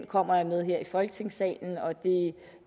kommer jeg med her i folketingssalen og det